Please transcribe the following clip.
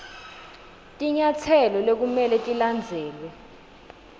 tinyatselo lekumele tilandzelwe